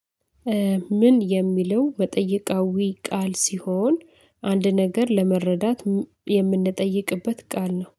ምን የሚለው መጠየቃዊ ቃል ሲሆን አንድ ነገር ለመረዳት የምንጠይቅበት ቃል ነው።